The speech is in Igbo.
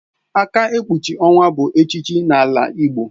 Aka ekpuchi owa bụ echichi n'ala igbo